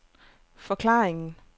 forklaringen